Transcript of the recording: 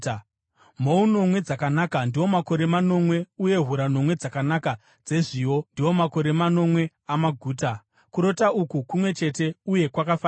Mhou nomwe dzakanaka ndiwo makore manomwe, uye hura nomwe dzakanaka dzezviyo ndiwo makore manomwe amaguta; kurota uku kumwe chete uye kwakafanana.